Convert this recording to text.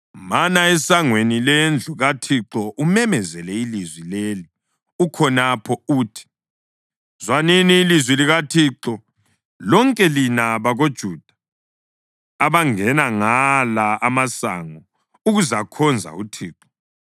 “Mana esangweni lendlu kaThixo umemezele ilizwi leli ukhonapho uthi: ‘Zwanini ilizwi likaThixo, lonke lina bantu bakoJuda abangena ngala amasango ukuzakhonza uThixo.